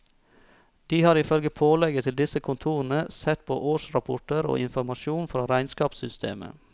De har ifølge pålegget til disse kontorene sett på årsrapporter og informasjon fra regnskapssystemet.